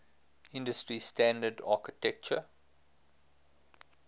industry standard architecture